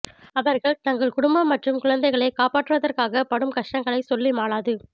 அவர்கள் தங்கள் குடும்பம் மற்றும் குழந்தைகளை காப்பாற்றுவதற்காக படும் கஷ்டங்களை சொல்லி மாளாது